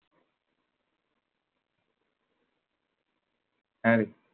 হ্যাঁরে।